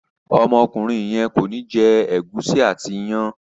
Ọmọkùnrin yen kọ ní jé gusi àti iyán.